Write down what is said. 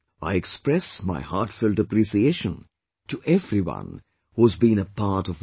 I express my heartfelt appreciation to everyone who has been a part of this effort